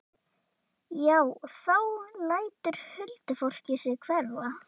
Já, þá lætur huldufólkið sig hverfa.